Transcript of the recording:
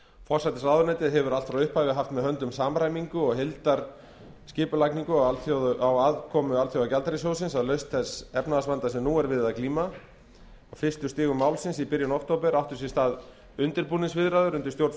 forsætisráðuneytið hefur allt frá upphafi haft með höndum samræmingu og heildarskipulagningu á aðkomu alþjóðagjaldeyrissjóðsins að lausn þess efnahagsvanda sem nú er við að glíma á fyrstu stigum málsins í byrjun október áttu sér stað undirbúningsviðræður undir stjórn